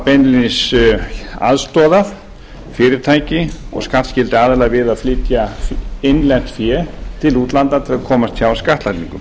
beinlínis aðstoðað fyrirtæki og skattskylda aðila við að flytja innlent fé til útlanda til að komast hjá skattlagningu